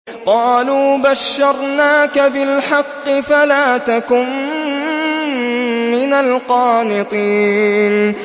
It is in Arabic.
قَالُوا بَشَّرْنَاكَ بِالْحَقِّ فَلَا تَكُن مِّنَ الْقَانِطِينَ